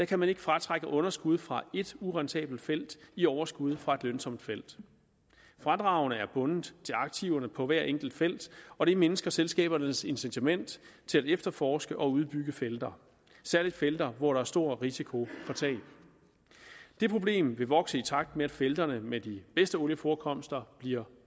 kan man ikke fratrække underskud fra et urentabelt felt i overskud fra et lønsomt felt fradragene er bundet til aktiverne på hvert enkelt felt og det mindsker selskabernes incitament til at efterforske og udbygge felter særlig felter hvor der er stor risiko for tab det problem vil vokse i takt med at felterne med de bedste olieforekomster bliver